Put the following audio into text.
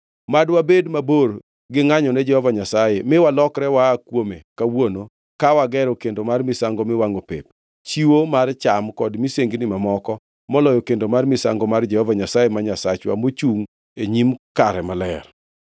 “Mad wabed mabor gi ngʼanyone Jehova Nyasaye, mi walokre waa kuome kawuono ka wagero kendo mar misango miwangʼo pep, chiwo mar cham kod misengini mamoko moloyo kendo mar misango mar Jehova Nyasaye ma Nyasachwa mochungʼ e nyim kare maler.”